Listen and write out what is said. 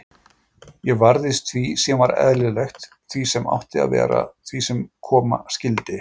Ég varðist því sem var eðlilegt, því sem átti að vera, því sem koma skyldi.